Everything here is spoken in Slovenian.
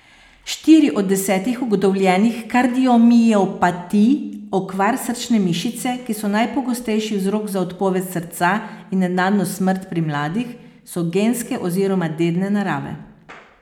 Štiri od desetih ugotovljenih kardiomiopatij, okvar srčne mišice, ki so najpogostejši vzrok za odpoved srca in nenadno smrt pri mladih, so genske oziroma dedne narave.